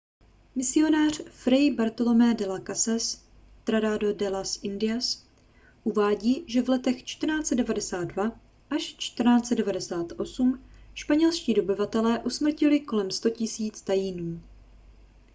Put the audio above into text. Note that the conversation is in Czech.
misionář fray bartolomé de las casas tratado de las indias uvádí že v letech 1492 až 1498 španělští dobyvatelé usmrtili kolem 100 000 taínů